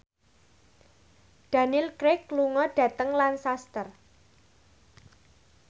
Daniel Craig lunga dhateng Lancaster